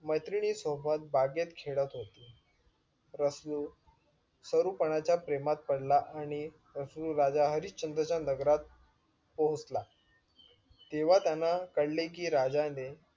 मैत्रिणी सोबत बागेत खेळत होते रसलू सरूपणाच्या प्रेमात पडला आणि रसूल राजा हरिशचंद्र च्या नगरात पोहचला तेंव्हा त्यांना कळले कि राजाने